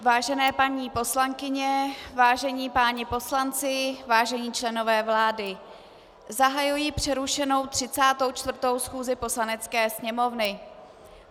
Vážené paní poslankyně, vážení páni poslanci, vážení členové vlády, zahajuji přerušenou 34. schůzi Poslanecké sněmovny.